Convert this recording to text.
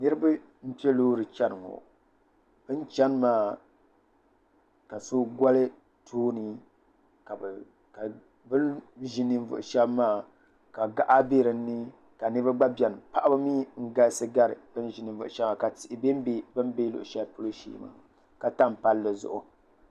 Niriba n-kpe loori n-chani ŋɔ bɛ ni chani maa ka so gɔli tooni ka bɛ ni ʒi ninvuɣ' shɛba maa ka gaɣa be di ni ka niriba gba be ni paɣiba mi n-galisi gari bɛ ni ʒi ninvuɣ' shɛba ka tihi bembe bɛ ni be luɣishɛli polo shee ka tam palli zuɣu